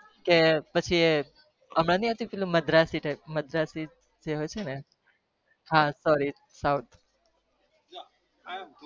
કે પછી હમણાં આવતું પેલુ માંધ્રાત્રસ હા